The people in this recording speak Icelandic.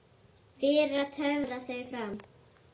Fyrir að töfra þau fram.